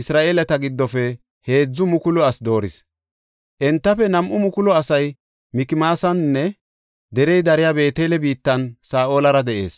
Isra7eeleta giddofe heedzu mukulu asi dooris. Entafe nam7u mukulu asay Mikmaasaninne derey dariya Beetele biittan Saa7olara de7ees.